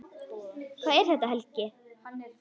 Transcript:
Hvað er þetta, Helgi?